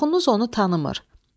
Çoxunuz onu tanımır.